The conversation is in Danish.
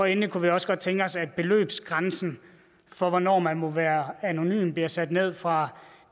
endelig kunne vi også godt tænke os at beløbsgrænsen for hvornår man må være anonym blev sat ned fra